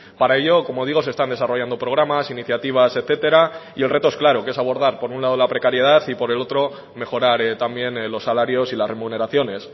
para ello como digo se están desarrollando programas iniciativas etcétera y el reto es claro que es abordar por un lado la precariedad y por el otro mejorar también los salarios y las remuneraciones